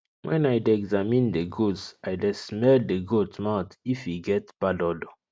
when i dey examine the goats i dey smell the goat mouth if e get bad odour